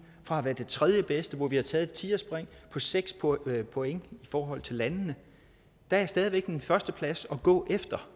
fra at være det tredjebedste hvor vi har taget et tigerspring på seks point point i forhold til landene der er stadig væk en førsteplads at gå efter